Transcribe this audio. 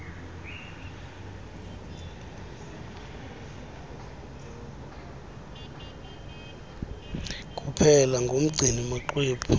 kuphela umgcini maxwebhu